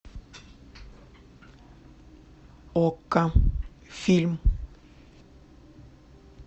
окко фильм